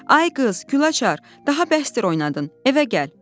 Ay qız, Gülaçar, daha bəsdir oynadın, evə gəl.